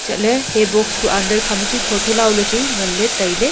hantoley hay box ku andar kha ma chu tho tho lao chu nganley tailay.